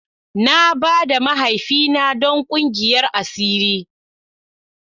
Na ba da mahaifina don kungiyar asiri.